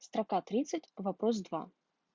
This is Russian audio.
строка тридцать вопрос два